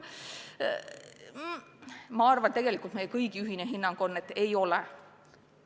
Ma arvan, et tegelikult meie kõigi ühine hinnang on, et ei taga.